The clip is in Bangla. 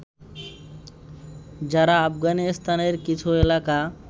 যারা আফগানিস্তানের কিছু এলাকা